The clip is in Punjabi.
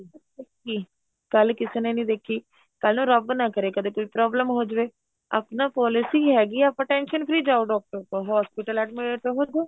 ਕੀ ਕੱਲ ਕਿਸੇ ਨੇ ਨੀ ਦੇਖੀ ਕੱਲ ਰੱਬ ਨਾ ਕਰੇ ਕਦੇ ਕੋਈ problem ਹੋ ਜਵੇ ਆਪਣਾ policy ਹੈਗੀ ਏ ਆਪਣਾ tension free ਜਾਉ ਡਾਕਟਰ ਕੋਲ hospital admit ਹੋ ਜੋ